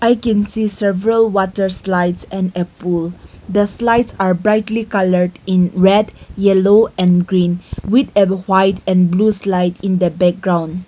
we can see several water slides and a pool the slides are brightly coloured in red yellow and green with above white and blue slide in the background.